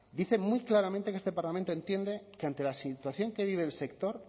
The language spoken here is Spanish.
dice muy claramente que este parlamento entiende que ante la situación que vive el sector